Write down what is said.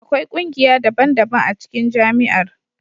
Akwai kungiya daban-daban a cikin Jami'ar.